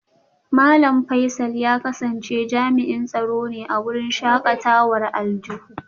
Malam Faisal ya kasance jami'in tsaro ne a wurin shakatawar aljihu